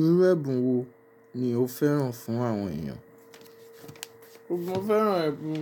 Irú ẹ̀bùn wo ni o fẹ́ràn fún àwọn èèyàn? Mo fẹ́ràn ẹ̀bùn,